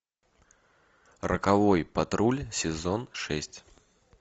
роковой патруль сезон шесть